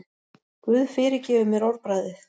Guð fyrirgefi mér orðbragðið.